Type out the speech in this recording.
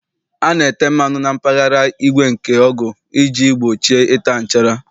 A na-ete mmanụ na mpaghara igwe nke ọgụ iji gbochie ịta nchara.